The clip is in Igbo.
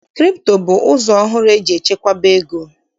Kripto bụ ụzọ ọhụrụ eji echekwaba ego.